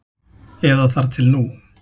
Eða þar til nú.